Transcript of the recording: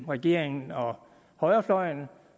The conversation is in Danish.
af regeringen og højrefløjen og